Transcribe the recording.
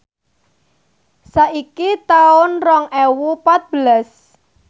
saiki taun rong ewu patbelas